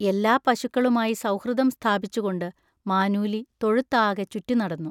എല്ലാ പശുക്കളുമായി സൗഹൃദം സ്ഥാപിച്ചുകൊണ്ട് മാനൂലി തൊഴുത്താകെ ചുറ്റിനടന്നു.